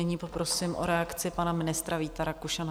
Nyní poprosím o reakci pana ministra Víta Rakušana.